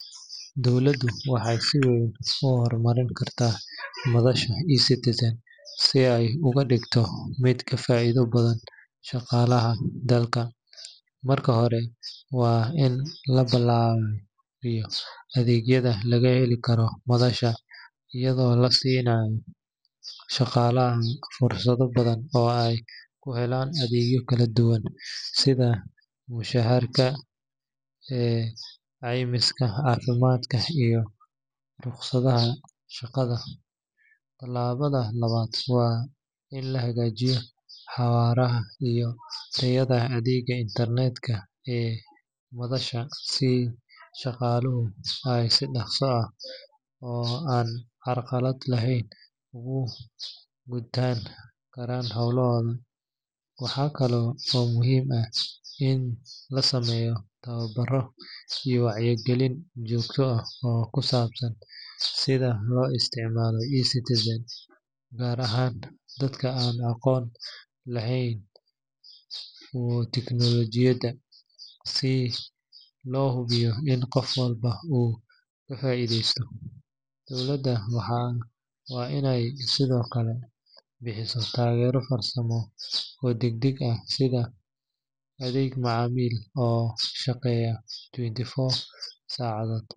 Dowladdu waxay si weyn u horumarin kartaa madasha eCitizen si ay uga dhigto mid ka faa’iido badan shaqaalaha dalka. Marka hore, waa in la ballaariyo adeegyada laga heli karo madasha, iyadoo la siinayo shaqaalaha fursado badan oo ay ku helaan adeegyo kala duwan sida mushaharka, caymiska caafimaadka, iyo rukhsadaha shaqada. Tallaabada labaad waa in la hagaajiyo xawaaraha iyo tayada adeegga internetka ee madasha, si shaqaaluhu ay si dhakhso ah oo aan carqalad lahayn ugu gudan karaan hawlahooda. Waxaa kale oo muhiim ah in la sameeyo tababaro iyo wacyigelin joogto ah oo ku saabsan sida loo isticmaalo eCitizen, gaar ahaan dadka aan aqoon badan u lahayn tiknoolajiyada, si loo hubiyo in qof walba uu ka faa’iidaysto. Dowladdu waa inay sidoo kale bixisaa taageero farsamo oo degdeg ah, sida adeeg macaamiil oo shaqeeya 24 saacadood